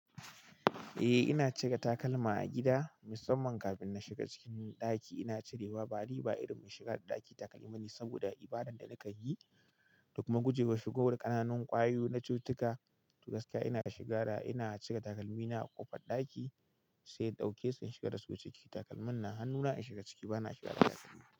Eh ina cire takalma a gida, musamman kafin na shiga cikin ɗaki. Ina cirewa ba ni ba irin mai shiga da ɗaki takalmi bane, saboda ibadan da na kanyi, da kuma gujewar shigowar ƙananun ƙwayu na cututtuka. To gaskiya ina shiga da--ina cire takalmi na a ƙofar ɗaki sai in ɗauke su sai in shigar da su ciki. Takalmin na hannuna in shiga ciki, bana shiga da takalmi.